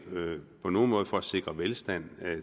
på nogen måde for at sikre velstand